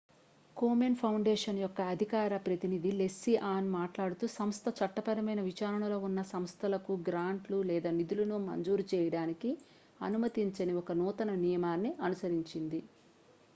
Komen foundation యొక్క అధికార ప్రతినిధి లెస్లీ ఆన్ మాట్లాడుతూ సంస్థ చట్టపరమైన విచారణ లో ఉన్న సంస్థలకు గ్రాంట్లు లేదా నిధులను మంజూరు చేయడానికి అనుమతించని ఒక నూతన నియమాన్ని అనుసరించింది